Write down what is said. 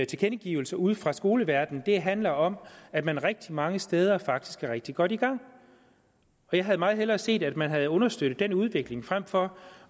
tilkendegivelser ude fra skoleverdenen der handler om at man rigtig mange steder faktisk er rigtig godt i gang jeg havde meget hellere set at man havde understøttet den udvikling frem for